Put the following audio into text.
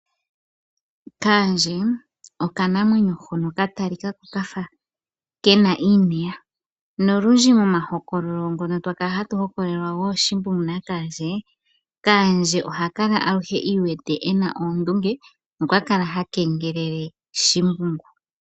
Kaandje okanamwenyo hoka ka talika ko kafa kena iineya. Nolundji momahokololo ngono twa kala hatu hokololelwa gooShimbungu naKaandje, Kaandje oha kala aluhe i iwete ena oondunge nokwa kala ha kengelele Shimbungu.